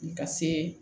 Ka se